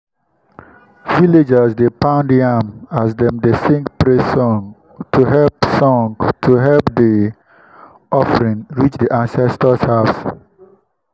villagers dey pound yam as dem dey sing praise song to help song to help the offering reach the ancestors’ house.